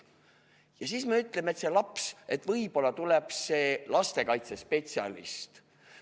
Ja siis me ütleme, et appi tuleb lastekaitsespetsialist.